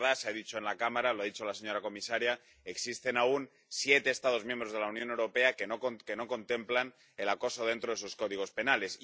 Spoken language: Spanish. Es verdad —se ha dicho en la Cámara, lo ha dicho la señora comisaria que existen aún siete Estados miembros de la Unión Europea que no contemplan el acoso dentro de sus códigos penales.